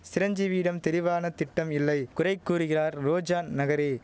சிரஞ்சீவியிடம் தெரிவான திட்டம் இல்லை குறை கூறுகிறார் ரோஜா நகரி